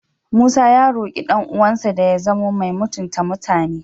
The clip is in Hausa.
Musa ya roƙi ɗan'uwansa da ya zamo mai mutunta mutane.